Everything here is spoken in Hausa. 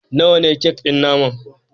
Nawa ne kek ɗin naman